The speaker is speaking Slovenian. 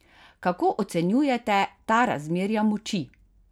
Kako ocenjujete ta razmerja moči?